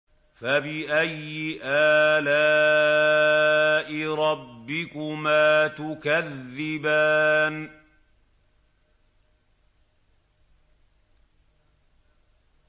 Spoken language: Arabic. فَبِأَيِّ آلَاءِ رَبِّكُمَا تُكَذِّبَانِ